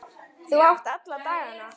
Þú átt alla dagana.